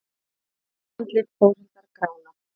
Andlit Þórhildar gránar.